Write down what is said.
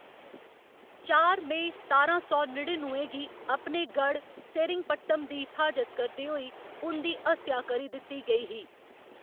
चार मेई सतारां सौ नड़िनुए गी अपने गढ़ सेरिंगपट्टम दी फ्हाजत करदे होई उं'दी हत्या करी दित्ती गेई ही।